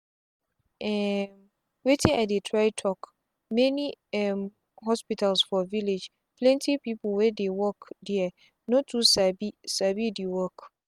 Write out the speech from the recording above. um wetin i dey try talk many um hospitals for villageplenty people wey dey work there no too sabi sabi the work